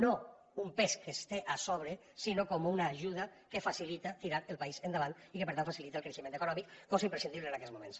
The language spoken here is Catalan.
no com un pes que es té a sobre sinó com una ajuda que facilita tirar el país endavant i que per tant facilita el creixement econòmic cosa imprescindible en aquests moments